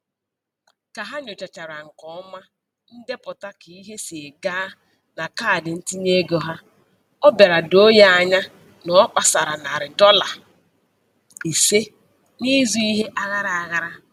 Ka ha nyochachara nke ọma ndepụta ka ihe si gaa na kaadị ntinyeego ha, ọ bịara doo ya anya na ọ kpasara narị dọla ise n'ịzụ ihe aghara aghara.